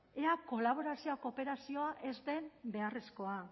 ea kolaborazioa kooperazioa ez den beharrezkoa